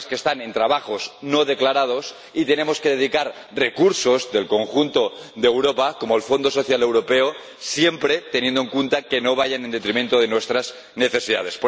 personas que realizan trabajos no declarados, y tenemos que dedicar recursos del conjunto de Europa, como el Fondo Social Europeo, siempre teniendo en cuenta que no vayan en detrimento de nuestras necesidades.